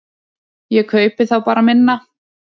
Ég kaupi þá bara minna.